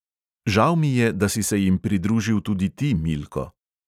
Žal mi je, da si se jim pridružil tudi ti, milko.